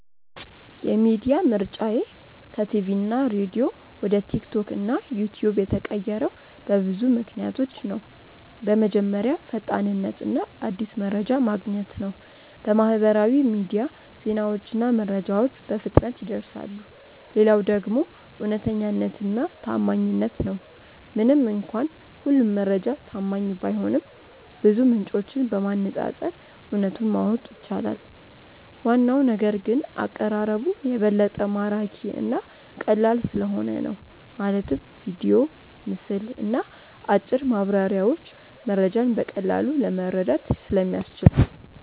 የሚዲያ ምርጫዬ ከቲቪና ሬዲዮ ወደ ቲክቶክ እና ዩትዩብ የተቀየረው በብዙ ምክንያቶች ነው። በመጀመሪያ ፈጣንነት እና አዲስ መረጃ ማግኘት ነው፤ በማህበራዊ ሚዲያ ዜናዎችና መረጃዎች በፍጥነት ይደርሳሉ። ሌላው ደግሞ እውነተኛነትና ታማኝነት ነው፤ ምንም እንኳን ሁሉም መረጃ ታማኝ ባይሆንም ብዙ ምንጮችን በማነፃፀር እውነቱን ማወቅ ይቻላል። ዋናው ነገር ግን አቀራረቡ የበለጠ ማራኪ እና ቀላል ስለሆነ ነው፤ ማለትም ቪዲዮ፣ ምስል እና አጭር ማብራሪያዎች መረጃን በቀላሉ ለመረዳት ስለሚያስችል ነው